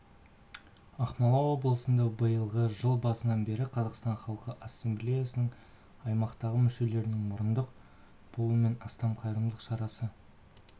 ақмола облысында биылғы жыл басынан бері қазақстан халқы ассамблеясының аймақтағы мүшелерінің мұрындық болуымен астам қайырымдылық шарасы